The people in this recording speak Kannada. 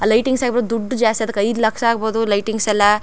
ಆ ಲೈಟಿಂಗ್ಸ್ ಆಗಬಹುದು ದುಡ್ಡ್ ಜಾಸ್ತಿ ಅದ್ಕ ಐದು ಲಕ್ಷ ಅಗ್ಬೋದು ಲೈಟಿಂಗ್ಸ್ ಎಲ್ಲಾ.